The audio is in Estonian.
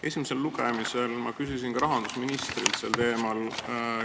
Esimesel lugemisel ma esitasin ka rahandusministrile sel teemal küsimuse.